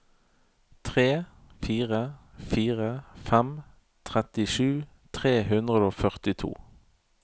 tre fire fire fem trettisju tre hundre og førtito